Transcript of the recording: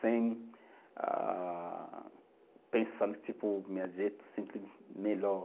Sem ah, pensar, tipo, meu jeito sempre melhor.